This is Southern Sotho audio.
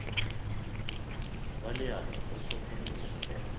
wa leano o hlokometse hore